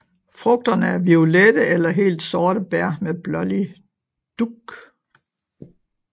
Frugterne er violette eller helt sorte bær med blålig dug